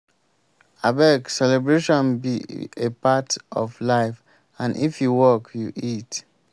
abeg celebration be a part of life and if you work you eat.